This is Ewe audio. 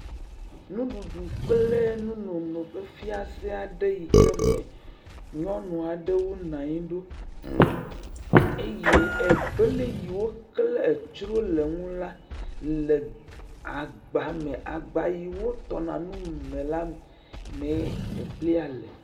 Nuɖuɖu kple nunono ƒe fiase aɖe yi ke me nyɔnu aɖewo nɔ anyi ɖo eye ebli yi woklẽ etsro le eŋu la le agbame. Agba yi wotɔna nu me la mee eblia le.